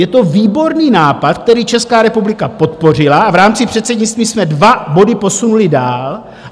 Je to výborný nápad, který Česká republika podpořila, a v rámci předsednictví jsme dva body posunuli dál.